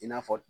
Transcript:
I n'a fɔ